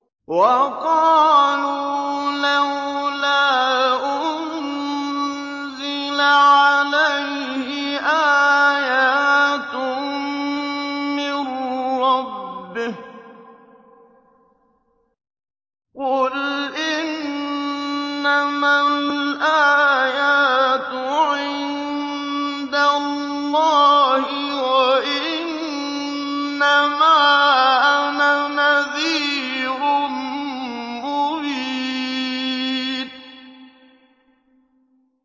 وَقَالُوا لَوْلَا أُنزِلَ عَلَيْهِ آيَاتٌ مِّن رَّبِّهِ ۖ قُلْ إِنَّمَا الْآيَاتُ عِندَ اللَّهِ وَإِنَّمَا أَنَا نَذِيرٌ مُّبِينٌ